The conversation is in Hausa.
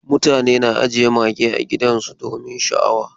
Mutane na ajiye mage a gidajensu domin sha'awa.